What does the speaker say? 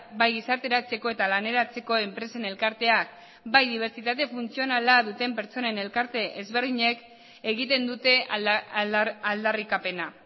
bai gizarteratzeko eta laneratzeko enpresen elkarteak eta bai dibertsitate funtzionala duten pertsonen elkarte ezberdinek egiten dute aldarrikapena